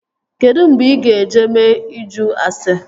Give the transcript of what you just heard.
Kedụ mgbe ị ga-eje mee ịjụ ase?